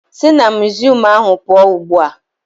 Si na muziọm ahụ pụọ ugbu a!